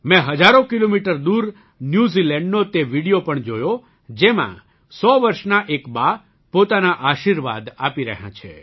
મેં હજારો કિમી દૂર ન્યૂઝીલન્ડનો તે વિડિયો પણ જોયો જેમાં ૧૦૦ વર્ષનાં એક બા પોતાના આશીર્વાદ આપી રહ્યાં છે